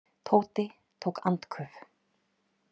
Tóti tók andköf.